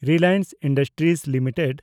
Reliance industries limited